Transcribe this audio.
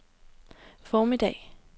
formiddag